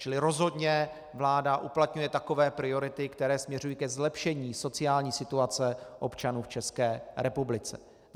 Čili rozhodně vláda uplatňuje takové priority, které směřují ke zlepšení sociální situace občanů v České republice.